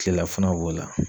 Kilelafanaw b'o la